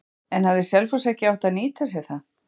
En hefði Selfoss ekki átt að nýta sér það?